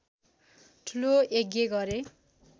ठूलो यज्ञ गरे